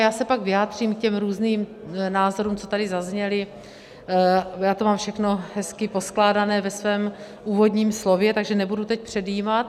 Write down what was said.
Já se pak vyjádřím k těm různým názorům, co tady zazněly, já to mám všechno hezky poskládané ve svém úvodním slově, takže nebudu teď předjímat.